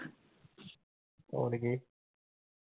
ਹੋਰ ਕੀ।